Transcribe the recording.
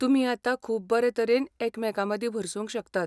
तुमी आतां खूब बरे तरेन एकामेकांमदीं भरसूंक शकतात.